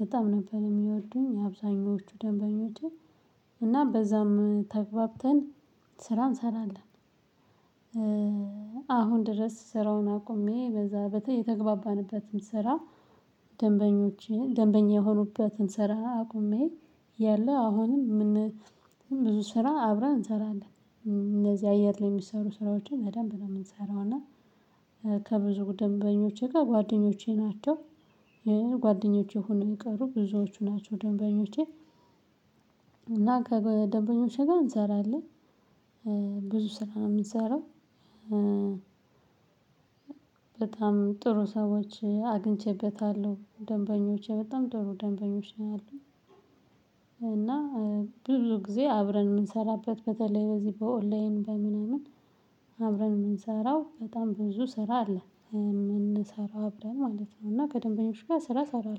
በጣም ነበር የሚወዱኝ አብዛኞቹ ደንበኞቼ እና በዛም ተግባብተን ስራ እንሰራለን። አሁን ድረስ ስራውን አቁሜ በዛ የተግባባንበት ስራ። ደንበኞቼ ደንበኛ የሆኑበትን ስራ አቁሜ እያለው አሁንም ብዙ ስራ አብረን እንሰራለን። እንደዚህ አየር ላይ የሚሰሩ ስራዎችን በደንብ ነው የምንሰራው እና። ከብዙ ደንበኞቼ ጋር ጓደኞቼ ናቸው ሆነው የቀሩ ብዙዎቹ ናቸው ደንበኞቼ። እና ከደንበኞቼ ጋር እንሰራለን ብዙ ስራ ነው የምንሰራው። ጥሩ ሰዎች አግኝቼበታለሁ ደንበኞቼ በጣም ጥሩ ደንበኞች ነው ያሉኝ። እና ብዙ ጊዜ አብረን የምንሰራበት በተለይ በዚህ በኦንላይን በምንም አብረን የምንሰራው በጣም ብዙ ስራ አለ። የምንሰራው አብረን ማለት ነው እና ከደንበኞች ጋር ስራ እሰራለሁ